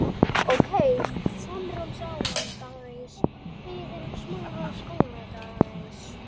Feldspat er algengasta frumsteind í storkubergi og myndbreyttu bergi.